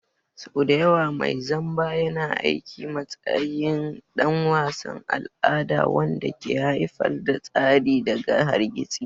Sau da yawa mai zamba yana aiki a matsayin ɗan wasan al'ada wanda ke haifar da tsari daga hargitsi.